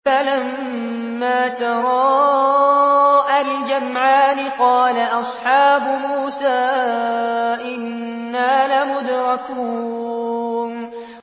فَلَمَّا تَرَاءَى الْجَمْعَانِ قَالَ أَصْحَابُ مُوسَىٰ إِنَّا لَمُدْرَكُونَ